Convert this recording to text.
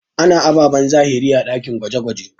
A na ababen zahiri a ɗakin gwaje-gwaje.